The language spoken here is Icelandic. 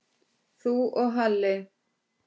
Þú og Halli?